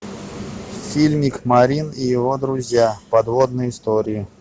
фильмик марин и его друзья подводные истории